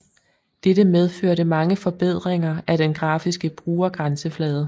Dette medførte mange forbedringer af den grafiske brugergrænseflade